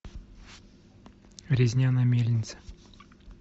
резня на мельнице